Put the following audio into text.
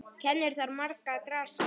Kennir þar margra grasa.